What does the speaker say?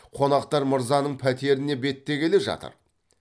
қонақтар мырзаның пәтеріне беттегелі жатыр